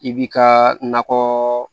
I b'i ka nakɔ